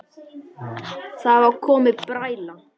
Það var komin bræla.